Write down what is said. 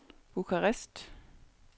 Bukarest